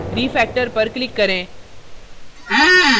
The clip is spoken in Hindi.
refactor पर click करें